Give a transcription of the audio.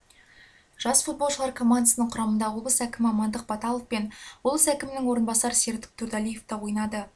жас футболшылар командасының құрамында облыс әкімі амандық баталов пен облыс әкімінің орынбасары серік тұрдалиев те ойнады